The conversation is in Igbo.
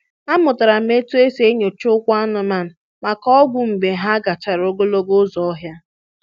Amụtara m otú e si enyocha ụkwụ anụmanụ maka ogwu mgbe ha gachara ogologo ụzọ ọhịa.